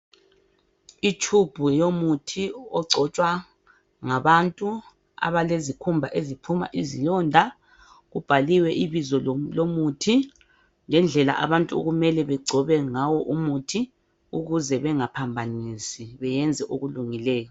Itshubhu yomuthi ogcotshwa ngabantu abelizikhumba eziphuma izilonda. Kubhaliwe ibizo lomuthi ngendlela abantu okumele begcobe ngayo umuthi ukuze bengaphamabanisi beyenze okulungileyo.